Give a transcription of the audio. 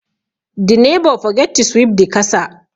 The neighbour forget to sweep the kasa